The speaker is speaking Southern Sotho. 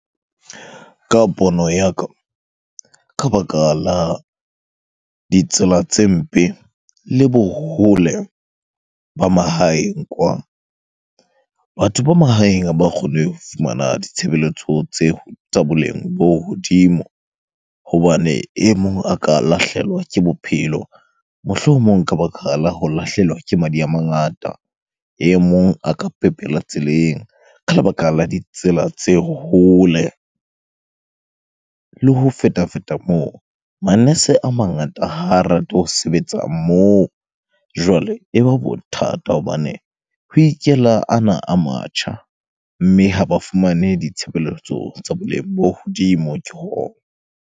Ka pono ya ka, ka baka la ditsela tse mpe le bo hole ba mahaeng kwa. Batho ba mahaeng ha ba kgone ho fumana ditshebeletso tse tsa boleng bo hodimo. Hobane e mong a ka lahlehelwa ke bophelo, mohlomong ka baka la ho lahlehelwa ke madi a mangata. E mong a ka pepela tseleng ka lebaka la ditsela tse hole. Le ho feta-feta moo, manese a mangata ha rate ho sebetsa moo. Jwale, e ba bothata hobane ho ikela ana a matjha mme ha ba fumane ditshebeletso tsa boleng bo hodimo ke .